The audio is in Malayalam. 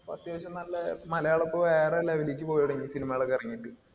ഇപ്പൊ അത്യാവശ്യം നല്ല മലയാളം ഇപ്പൊ വേറെ level ലിലേക്ക് പോയിതുടങ്ങി cinema കൾ ഒക്കെ ഇറങ്ങീട്ട്.